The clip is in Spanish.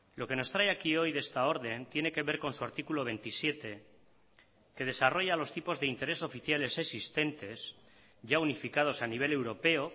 lo que nos trae aquí hoy de esta orden tiene que ver con su artículo veintisiete que desarrolla los tipos de interés oficiales existentes ya unificados a nivel europeo